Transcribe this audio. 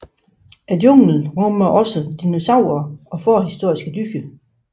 Junglen rummer også dinosaurer og forhistoriske dyr